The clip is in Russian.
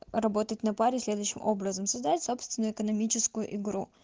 работать на паре следующим образом создать собственную экономическую игру